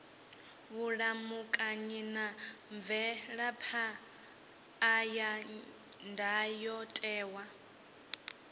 vhulamukanyi na mvelaphan ḓa ya ndayotewa